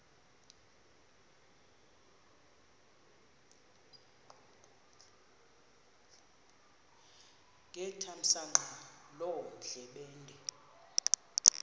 ngethamsanqa loo ndlebende